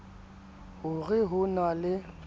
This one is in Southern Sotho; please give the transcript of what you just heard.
ho re ho na le